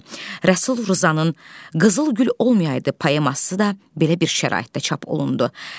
Rəsul Rzanın “Qızıl gül olmayaydı” poeması da belə bir şəraitdə çap olundu.